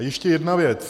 A ještě jedna věc.